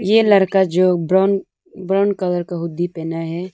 ये लड़का जो ब्राउन ब्राउन कलर का हुंडी पहना है।